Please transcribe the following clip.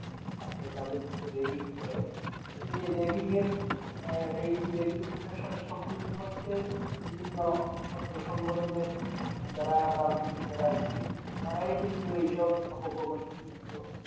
ঠিক থাকে তাদেরকে যে Ragging করে তো এই Ragging এর আহ এই Ragging টার সাথে সংলিপ্তত হচ্ছে বিভিন্ন ছাত্র সংগঠনের যারা রাজনীতি করে আরকি তারাই কিন্তু এই সব আপকর্মের সাথে লিপ্ত